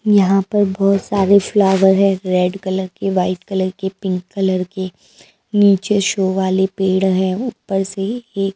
यहाँ पर बहुत सारे फ्लावर है रेड कलर के वाइट कलर के पिंक कलर के नीचे शो वाले पेड़ हैं ऊपर से एक --